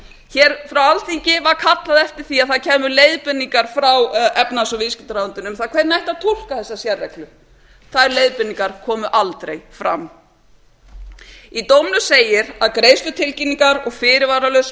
hér frá alþingi var kallað eftir því að það kæmu leiðbeiningar frá efnahags og viðskiptaráðuneytinu um það hvernig ætti að túlka þessa sérreglu þær leiðbeiningar komu aldrei fram í dómnum segir að greiðslutilkynningar og fyrirvaralaus